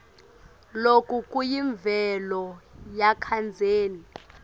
loku kuyimvelo yakadzeni